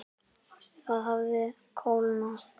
Það hafði kólnað.